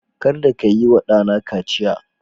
Kada ka yi wa ɗana kaciya